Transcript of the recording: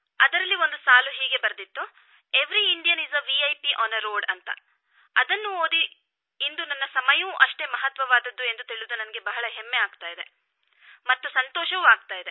ಅದರಲ್ಲಿ ಒಂದು ಸಾಲು ಹೀಗೆ ಬರೆದಿತ್ತು every Indian is a VIP on a road ರಸ್ತೆಗಳಲ್ಲಿ ಪ್ರತಿಯೊಬ್ಬ ಭಾರತೀಯನೂ ಗಣ್ಯನೇ ಅದನ್ನು ಓದಿ ಇಂದು ನನ್ನ ಸಮಯವೂ ಅಷ್ಟೇ ಮಹತ್ವವಾದದ್ದು ಎಂದು ತಿಳಿದು ನನಗೆ ಬಹಳ ಹೆಮ್ಮೆ ಎನಿಸಿತು ಮತ್ತು ಸಂತೋಷವೂ ಆಯಿತು